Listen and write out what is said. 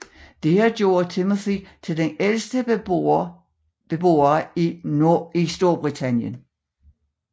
Dette gjorde Timothy til den ældste beboer i Storbritannien